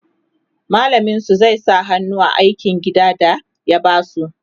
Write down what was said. mallamin su zai sa hannu a aikin gida da ya basu